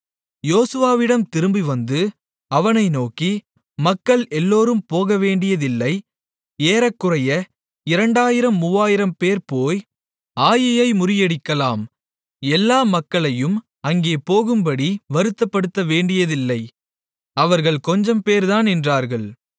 யோசுவாவிடம் திரும்பிவந்து அவனை நோக்கி மக்கள் எல்லோரும் போகவேண்டியதில்லை ஏறக்குறைய இரண்டாயிரம் மூவாயிரம்பேர் போய் ஆயீயை முறியடிக்கலாம் எல்லா மக்களையும் அங்கே போகும்படி வருத்தப்படுத்தவேண்டியதில்லை அவர்கள் கொஞ்சம்பேர்தான் என்றார்கள்